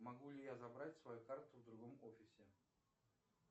могу ли я забрать свою карту в другом офисе